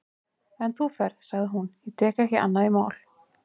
En þú ferð, sagði hún, ég tek ekki annað í mál.